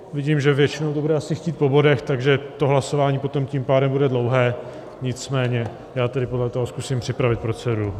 Vidím, že většina to bude asi chtít po bodech, takže to hlasování potom tím pádem bude dlouhé, nicméně já tedy podle toho zkusím připravit proceduru.